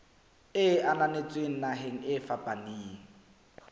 e ananetsweng naheng e fapaneng